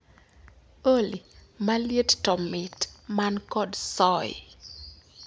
Olly, maliet tomit man kod soy